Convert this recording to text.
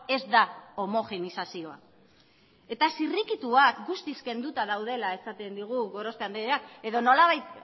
ez da homogenizazioa eta zirrikituak guztiz kenduta daudela esaten digu gorospe andreak edo nolabait